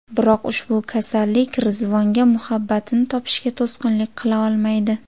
Biroq ushbu kasallik Rizvonga muhabbatini topishiga to‘sqinlik qila olmaydi.